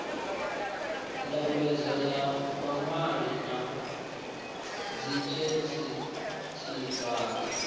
ndambedzo ya vhaṅwali na dzifesitivala